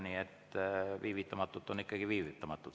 Nii et viivitamatult on ikkagi viivitamatult.